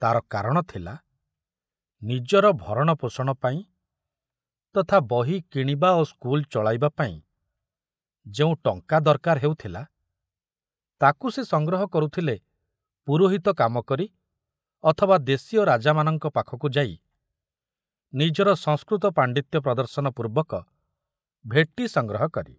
ତାର କାରଣ ଥୁଲା, ନିଜର ଭରଣପୋଷଣ ପାଇଁ ତଥା ବହି କିଣିବା ଓ ସ୍କୁଲ ଚଳାଇବା ପାଇଁ ଯେଉଁ ଟଙ୍କା ଦରକାର ହେଉଥିଲା, ତାକୁ ସେ ସଂଗ୍ରହ କରୁଥିଲେ ପୁରୋହିତ କାମ କରି ଅଥବା ଦେଶୀୟ ରାଜାମାନଙ୍କ ପାଖକୁ ଯାଇ ନିଜର ସଂସ୍କୃତ ପାଣ୍ଡିତ୍ୟ ପ୍ରଦର୍ଶନ ପୂର୍ବକ ଭେଟି ସଂଗ୍ରହ କରି।